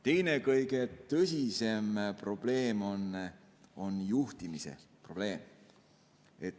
Teine, kõige tõsisem probleem on juhtimise probleem.